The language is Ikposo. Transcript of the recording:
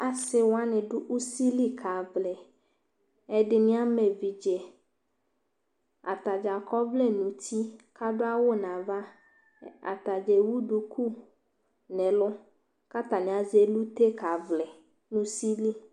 asɩwʊanɩ ɖʊ ʊsɩlɩ kaʋlɩ ɛɖɩnɩ ama ɛʋɩɖjɛ ataɖja akɔwlɛ nutɩ kʊ aɖu awʊnava ataɖja ɛwʊ ɖʊkʊ nɛlʊ kʊ atanɩ asɛ ɛlʊtɛ kavlɩ nʊ ʊsɩlɩ